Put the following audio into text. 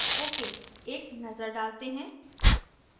ok एक नज़र डालते हैं